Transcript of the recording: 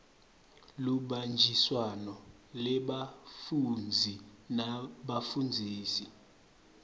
lubanjiswano lwebafundzi nebafundzisi